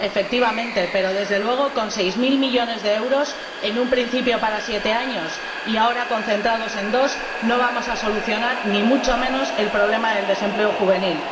Efectivamente, pero desde luego, con seis mil millones de euros, en un principio para siete años y ahora concentrados en dos, no vamos a solucionar, ni mucho menos, el problema del desempleo juvenil.